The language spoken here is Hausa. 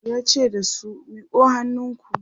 yace da su "miƙo hannunku!"